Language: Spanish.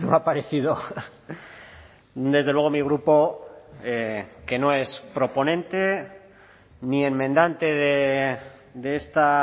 ha parecido desde luego mi grupo que no es proponente ni enmendante de esta